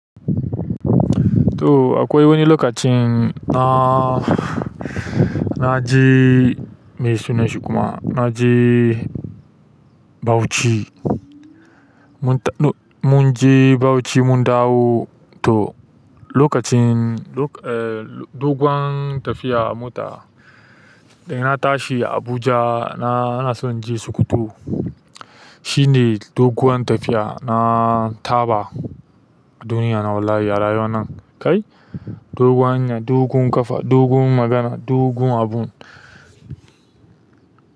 To akwai wani lokacin da naje me sunan shi kuma? Na je Bauchi. Mun je Bauchi mun dawo. Toh lokacin, dogon tafiya a mota. Da ina tashi Abuja na so in je Sokoto. Shi ne dogon tafiya na taɓa duniya na wallahi a rayuwan nan kai. Dogon hanya, dogon ƙafa, dogon magana, dogon abu.